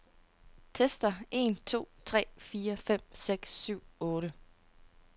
Tester en to tre fire fem seks syv otte.